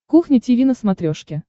кухня тиви на смотрешке